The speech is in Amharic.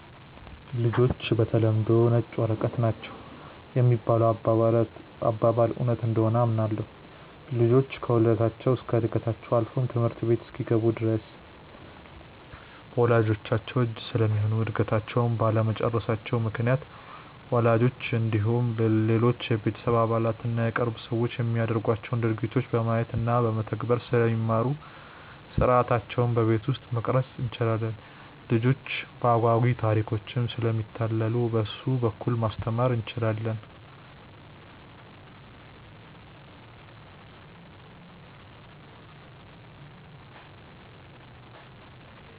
''ልጆች በተለምዶ ነጭ ወረቀቶች ናቸው ''የሚባለው አባባል እውነት እንደሆነ አምናለሁ። ልጆች ከውልደታቸው እስከ ዕድገታቸው አልፎም ትምህርት ቤት እስኪገቡ ድረስ በወላጅቻቸው እጅ ስለሚሆኑ እድገታቸውንም ባለመጨረሳቸው ምክንያት ወላጆቻቸው እንዲሁም ሌሎች የቤተሰብ አባላት እና የቅርብ ሰዎች የሚያደርጓቸውን ድርጊቶች በማየት እና በመተግበር ስለሚማሩ ሥርዓታቸውን በቤት ውስጥ መቅረፅ እንችላለን። ልጆች በአጓጊ ታሪኮችም ስለሚታለሉ በእሱ በኩል ማስተማር እንችላለን።